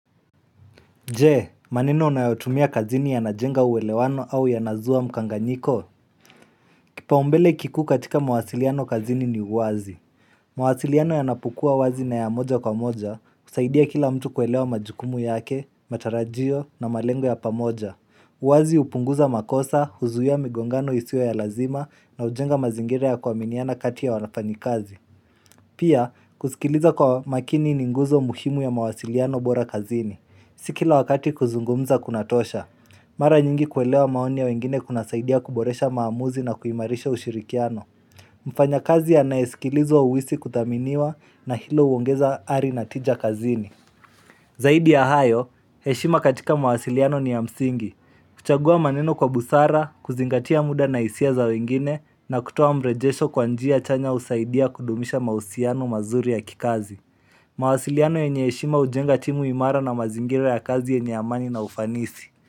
Je, maneno unayotumia kazini yanajenga uwelewano au yanazua mkanganyiko? Kipaumbele kikuu katika mawasiliano kazini ni uwazi. Mwasiliano yanapokua wazi na ya moja kwa moja, kusaidia kila mtu kuelewa majukumu yake, matarajio na malengo ya pamoja. Uwazi upunguza makosa, huzuia migongano isio ya lazima na ujenga mazingira ya kuaminiana kati ya wanafanikazi. Pia, kusikiliza kwa makini ni nguzo muhimu ya mawasiliano bora kazini. Si kila wakati kuzungumza kuna tosha. Mara nyingi kuelewa maoni ya wengine kuna saidia kuboresha maamuzi na kuimarisha ushirikiano. Mfanya kazi anayesikilizwa uhisi kuthaminiwa na hilo uongeza ari natija kazini. Zaidi ya hayo, heshima katika mawasiliano ni ya msingi. Kuchagua maneno kwa busara, kuzingatia muda na hisia za wengine na kutuwa mrejesho kwa njia chanya usaidia kudumisha mahusiano mazuri ya kikazi. Mawasiliano yenye heshima ujenga timu imara na mazingira ya kazi yenye amani na ufanisi.